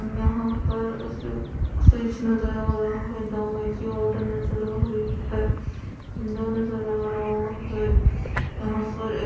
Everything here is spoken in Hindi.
यहां पर उसे फ्रिज नजर आ रहा है। दवाई की बॉटल नजर आ रही है। विंडो नजर आ रहा है। यहां पर एक--